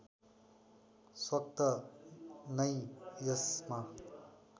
स्वत नै यसमा